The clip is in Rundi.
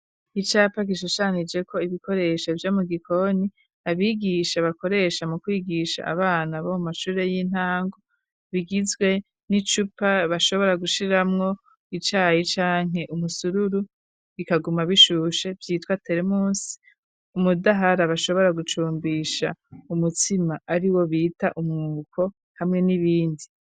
Icapa gishushanije ko ibikoresho vyo mu gikoni. Abigisha bakoresha mu kwigisha abana bo mashure y'intango .Bigizwe n'icupa bashobora gushiramwo icayi ca nke umusururu bikaguma bishushe vyitwa teremus, umudahara bashobora gucumbisha umutsima ari wo bita umwuko hamwe n'ibindi.